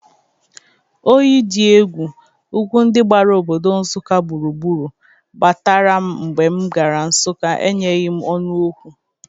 Oyi dị egwu ugwu ndị gbara obodo Nsụka gburugburu gbatara m mgbe m gara Nsụka enyeghi ọnụ Ọkwọ.